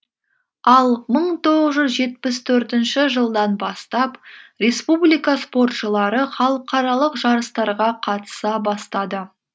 ал мың тоғыз жүз жетпіс төртінші жылдан бастап республика спортшылары халықаралық жарыстарға қатыса бастады